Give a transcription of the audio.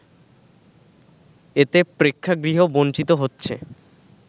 এতে প্রেক্ষাগৃহ বঞ্চিত হচ্ছে